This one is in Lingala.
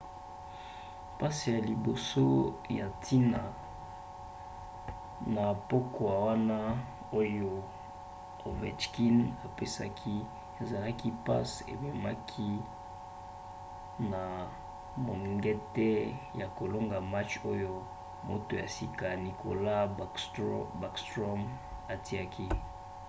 passe ya liboso ya ntina na pokwa wana oyo ovechkin apesaki ezalaki passe ememaki na mongete ya kolonga match oyo moto ya sika nicklas backstrom atiaki;